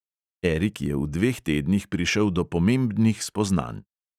Erik je v dveh tednih prišel do pomembnih spoznanj.